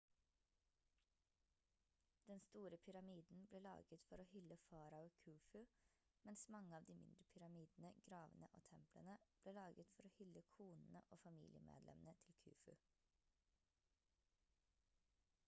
den store pyramiden ble laget for å hylle farao khufu mens mange av de mindre pyramidene gravene og templene ble laget for å hylle konene og familiemedlemmene til khufu